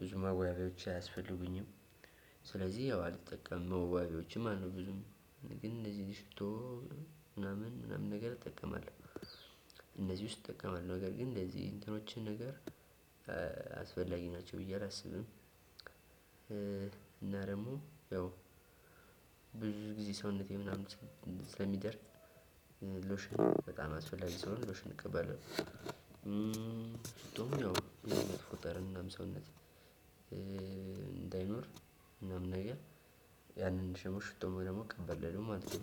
ብዙ መዋቢያዎች አያስፈልጉኝም። ስለዚህ ያው አልጠቀምም መዋቢያዎችም ማለት ነው። ብዙም ግን እንደዚህ ሽቶ ምናምን ምናምን ነገር እጠቀማለሁ። እነዚህ ውስጥ እጠቀማለሁ ነገር ግን እንደዚህ እንትኖችን ነገር አስፈላጊ ናቸው ብዬ አላስብም። እና ደግሞ ያው ብዙ ጊዜ ሰውነቴ ምናምን ስለሚደርቅ ሎሽን በጣም አስፈላጊ ስለሆነ ሎሽን እቀባለው። ሽቶም ያው ብዙ ጠረን ሰውነት እንዳይኖር ምናምን ነገር ያንን ሽቶ ደግሞ እቀባለው ማለት ነው።